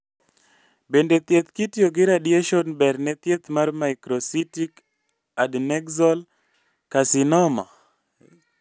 Bende thieth kitiyo gi radiation ber ne thieth mar microcystic adnexal carcinoma?